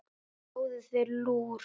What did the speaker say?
Fáðu þér lúr.